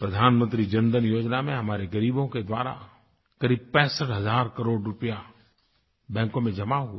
प्रधानमंत्री जनधन योजना में हमारे ग़रीबों के द्वारा क़रीब 65 हज़ार करोड़ रूपया बैंकों में जमा हुआ है